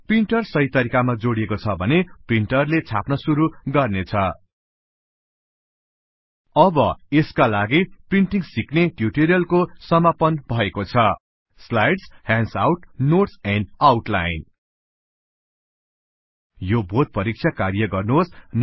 printer सहि तरिकामा जोडिएको छ भने प्रिन्टरले छाप्न गर्न सुरु गर्नेछ अब यसका साथै प्रिन्टिंग सिक्ने ट्युटोरिअल को समापन भएको छ slides handouts notes and outline यो बोध परिक्षा कार्य गर्नुहोस